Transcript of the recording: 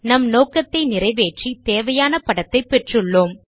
நம் நோக்கத்தை நிறைவேற்றி தேவையான படத்தைப் பெற்றுள்ளோம்